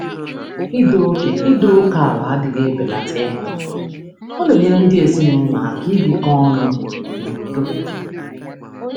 Ịtọ ókè anaghị ebelata ịhụnanya; ọ na-enyere ndị ọ na-enyere ndị ezinụlọ aka ibi n'udo.